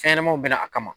Fɛnɲɛnamaw bɛɛ bɛ na a kama